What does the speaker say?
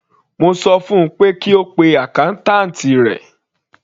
Mo sọ fun pé kí ó pe accountant rẹ̀.